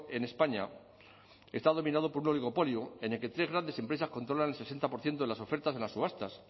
en españa está dominado por un oligopolio en el que tres grandes empresas controlan el sesenta por ciento de las ofertas de las subastas